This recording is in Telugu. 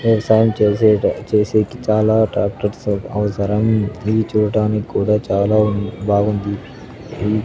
వ్యవసాయం చేసేటి చేసేకి చాలా ట్రాక్టర్స్ అవసరం ఇది చూడ్డానికి కూడా చాలా బాగుంది ఈ --